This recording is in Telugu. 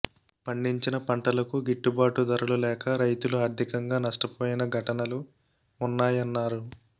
పండించిన పంటలకు గిట్టుబాటు ధరలు లేక రైతులు ఆర్టికంగా నష్టపోయిన ఘటనలు ఉన్నాయన్నారు